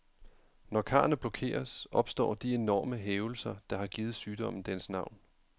Når karrene blokeres, opstår de enorme hævelser, der har givet sygdommen dens navn.